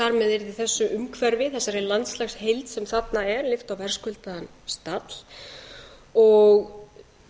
yrði þessu umhverfi þessari landslagsheild sem þarna er lyft á verðskuldaðan stall og